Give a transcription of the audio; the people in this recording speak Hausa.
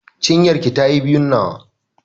Cinyar ki ta yi biyun nawa.